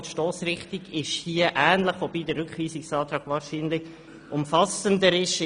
Die Stossrichtung ist ähnlich, wobei der Rückweisungsantrag wahrscheinlich umfassender ist.